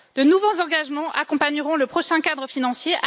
De nouveaux engagements accompagneront le prochain cadre financier.